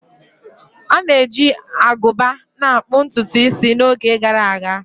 A na-eji agụba na akpu ntutu isi n'oge gara aga